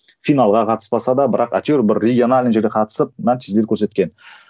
финалға қатыспаса да бірақ әйтеуір бір региональный жерге қатысып нәтижелер көрсеткен